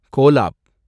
collab